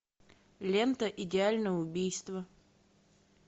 лента идеальное убийство